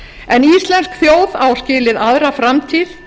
en íslensk þjóð á skilið aðra framtíð